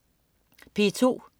P2: